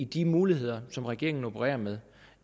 de muligheder som regeringen opererer med